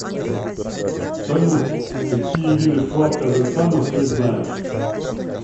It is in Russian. салют какие виды флаг казахстана ты знаешь